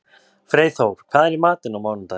Freyþór, hvað er í matinn á mánudaginn?